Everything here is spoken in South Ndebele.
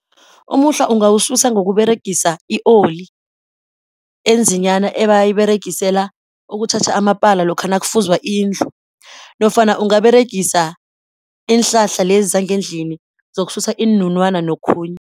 Umuhlwa ungawususa ngokuberegisa i-oli enzinyana ebayiberegisela ukutjhatjha amapala lokha nakufuzwa indlu nofana ungaberegisa iinhlahla lezi zangendlini zokususa iinunwana nokhunye.